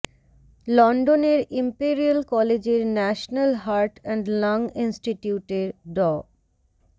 লন্ডনের ইম্পেরিয়াল কলেজের national heart and lung ইনস্টিটিউটের ড